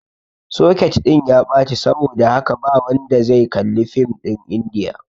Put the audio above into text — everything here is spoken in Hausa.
soket ɗin ya ɓaci saboda haka ba wanda zai kalli fim ɗin indiyan